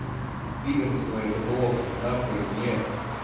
пидорство это плохо на хуй нет